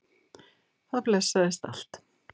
Það blessaðist allt.